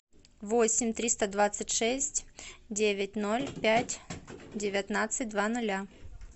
восемь триста двадцать шесть девять ноль пять девятнадцать два ноля